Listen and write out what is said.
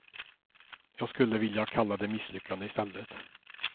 Jag skulle vilja kalla det misslyckande i stället.